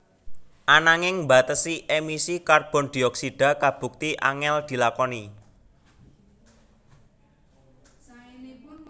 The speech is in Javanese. Ananging mbatesi emisi karbon dioksida kabukti angèl dilakoni